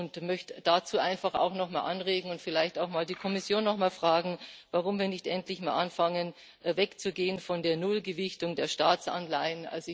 Ich möchte dazu einfach auch nochmal anregen und vielleicht auch die Kommission nochmal fragen, warum wir nicht endlich mal anfangen, wegzugehen von der Nullgewichtung der Staatsanleihen.